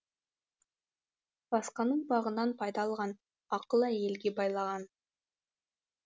басқаның бағынан пайда алған ақылы әйелге байлаған